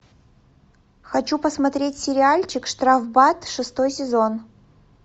хочу посмотреть сериальчик штрафбат шестой сезон